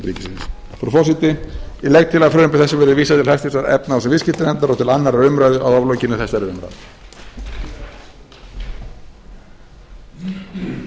frú forseti ég legg til að frumvarpi þessu verði vísað til háttvirtrar efnahags og viðskiptanefndar og til annarrar umræðu að lokinni þessari umræðu